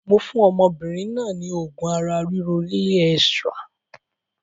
Mo fún ọmọbìnrin náà ni oògùn ara ríro Real Extra